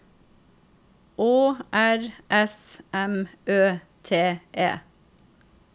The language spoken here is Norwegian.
Å R S M Ø T E